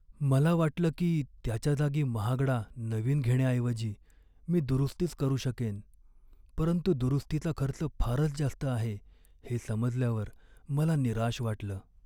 मला वाटलं की त्याच्या जागी महागडा नवीन घेण्याऐवजी मी दुरुस्तीच करू शकेन, परंतु दुरुस्तीचा खर्च फारच जास्त आहे हे समजल्यावर मला निराश वाटलं.